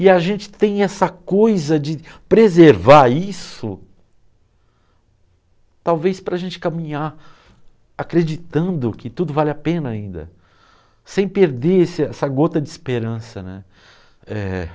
E a gente tem essa coisa de preservar isso, talvez para a gente caminhar acreditando que tudo vale a pena ainda, sem perder esse essa gota de esperança, né. É...